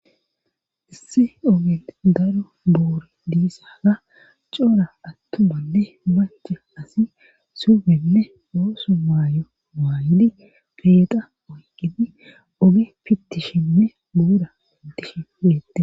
issi oge daro boore diisaga coora attumanne maca asi subenne ooso maayo maayidi peexa oyqidi oge pittishinne buura pittishi bettets